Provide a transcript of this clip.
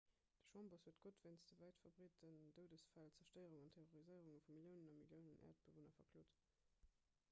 den chambers huet gott wéinst de wäitverbreeten doudesfäll d'zerstéierung an terroriséierung vu milliounen a milliounen äerdebewunner verklot